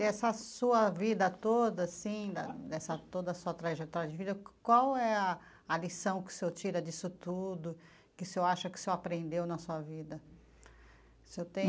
Dessa sua vida toda, assim, da dessa toda sua trajetória de vida, qual é a a lição que o senhor tira disso tudo, que o senhor acha que o senhor aprendeu na sua vida? O senhor tem